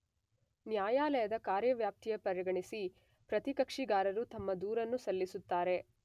ನ್ಯಾಯಾಲಯದ ಕಾರ್ಯವ್ಯಾಪ್ತಿಯ ಪರಿಗಣಿಸಿ ಪ್ರತಿಕಕ್ಷಿಗಾರರು ತಮ್ಮ ದೂರನ್ನು ಸಲ್ಲಿಸುತ್ತಾರೆ